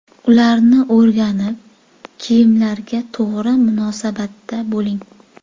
Ularni o‘rganib, kiyimlarga to‘g‘ri munosabatda bo‘ling.